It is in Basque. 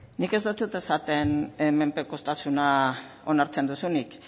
nik ez deutsut esaten menpekotasuna onartzen duzunik